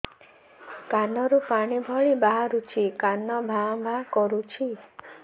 କାନ ରୁ ପାଣି ଭଳି ବାହାରୁଛି କାନ ଭାଁ ଭାଁ କରୁଛି